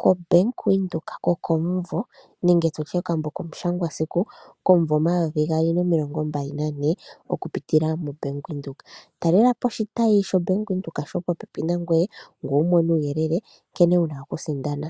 koBank Windhoek kokomumvo nenge tutye okambo komushangwasiku komumvo omayovi gaali nomilongo mbali nane okupitila moBank Windhoek. Talela po oshitayi shoBank Windhoek shopopepi nangoye ngoye wu mone uuyelele nkene wuna okusindana.